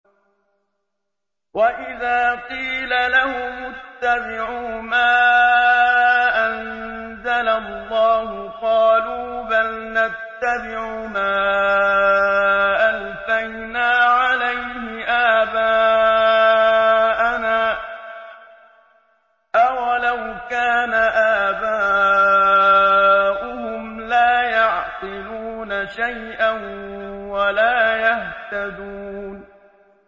وَإِذَا قِيلَ لَهُمُ اتَّبِعُوا مَا أَنزَلَ اللَّهُ قَالُوا بَلْ نَتَّبِعُ مَا أَلْفَيْنَا عَلَيْهِ آبَاءَنَا ۗ أَوَلَوْ كَانَ آبَاؤُهُمْ لَا يَعْقِلُونَ شَيْئًا وَلَا يَهْتَدُونَ